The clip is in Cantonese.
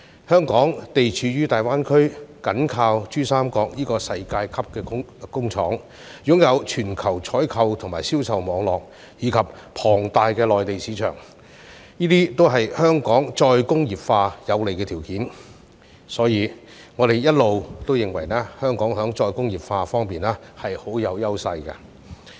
香港地處大灣區，緊靠珠三角這個世界級工廠，擁有全球採購及銷售網路，以及龐大的內地市場，這些也是香港再工業化的有利條件，所以我們一直認為，香港在再工業化方面是很有優勢的。